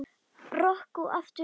Rokk og aftur rokk.